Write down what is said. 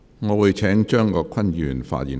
我會請張國鈞議員發言。